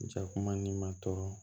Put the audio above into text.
Jakuma ni ma tɔɔrɔ